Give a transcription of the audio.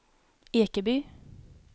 Ekeby